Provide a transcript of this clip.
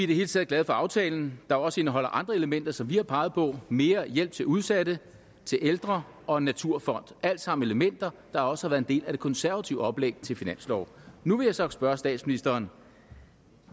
det hele taget glade for aftalen der også indeholder andre elementer som vi har peget på mere hjælp til udsatte til ældre og en naturfond alt sammen elementer der også har været en del af det konservative oplæg til finansloven nu vil jeg så spørge statsministeren